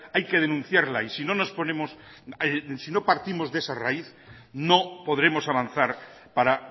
hay que denunciarla y si no nos ponemos si no partimos de esa raíz no podremos avanzar para